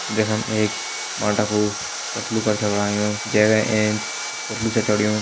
जखम एक मालडा कू तस्लु कर छ बणायु जै का एंच एक पूथलु छ चङयूं ।